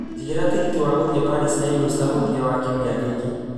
njigĩra tigiti wa gũthiĩ Paris na eurostar mũthia wa kiumia gĩkĩ